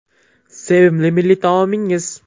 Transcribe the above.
Sevimli milliy taomingiz?